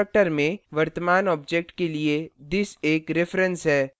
constructor में वर्तमान object के लिए this एक reference है